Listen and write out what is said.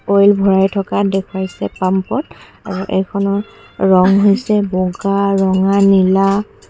oil ভৰাই থকা দেখুৱাইছে পাম্পত আৰু এইখনৰ ৰং হৈছে বগা ৰঙা নীলা --